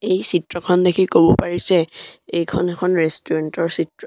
এই চিত্ৰখন দেখি ক'ব পাৰি যে এইখন এখন ৰেষ্টুৰেণ্ট ৰ চিত্ৰ।